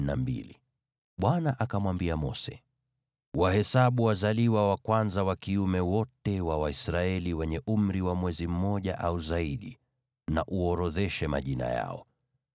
Bwana akamwambia Mose, “Wahesabu wazaliwa wa kwanza wa kiume wote wa Waisraeli wenye umri wa mwezi mmoja au zaidi na uorodheshe majina yao.